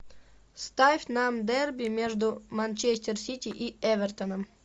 ставь нам дерби между манчестер сити и эвертоном